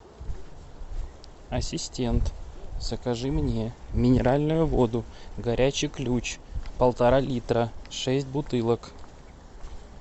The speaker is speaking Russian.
ассистент закажи мне минеральную воду горячий ключ полтора литра шесть бутылок